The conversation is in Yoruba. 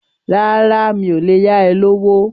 Rárá, mi ò lè yá ẹ lówó.